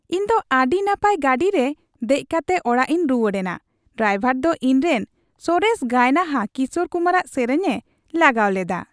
ᱤᱧ ᱫᱚ ᱟᱹᱰᱤ ᱱᱟᱯᱟᱭ ᱜᱟᱹᱰᱤᱨᱮ ᱫᱮᱡ ᱠᱟᱛᱮ ᱚᱲᱟᱜᱤᱧ ᱨᱩᱣᱟᱹᱲ ᱮᱱᱟ ᱾ ᱰᱨᱟᱭᱵᱷᱟᱨ ᱫᱚ ᱤᱧᱨᱮᱱ ᱥᱚᱨᱮᱥ ᱜᱟᱭᱱᱟᱦᱟ ᱠᱤᱥᱳᱨ ᱠᱩᱢᱟᱨᱟᱜ ᱥᱮᱨᱮᱧ ᱮ ᱞᱟᱜᱟᱣ ᱞᱮᱫᱟ ᱾